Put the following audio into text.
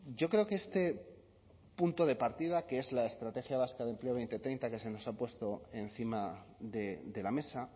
yo creo que este punto de partida que es la estrategia vasca de empleo dos mil treinta que se nos ha puesto encima de la mesa